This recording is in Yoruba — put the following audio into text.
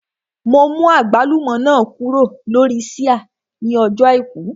Mo mú àgbálùmọ́ náà kúrò lórí ṣíà ní ọjọ́ àìkú